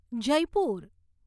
Jaipur